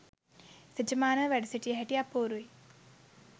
තෙජමානව වැඩ සිටිය හැටි අපූරුයි